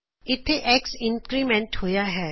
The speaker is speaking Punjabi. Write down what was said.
ਇਥੇ X ਇੰਕਰੀਮੈਂਟ ਹੋਇਆ ਹੈ